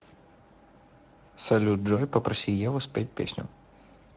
салют джой попроси еву спеть песню